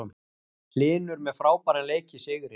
Hlynur með frábæran leik í sigri